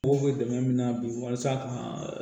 Mɔgɔw bɛ dɛmɛ min na bi walasa ka